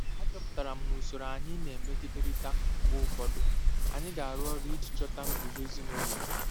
Achọpụtara m na usoro anyị na-emegiderịta mgbe ụfọdụ; anyị ga-arụ ọrụ iji chọta nguzozi nwere udo?